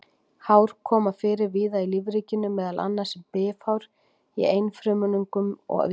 Hár koma fyrir víða í lífríkinu, meðal annars sem bifhár í einfrumungum og víðar.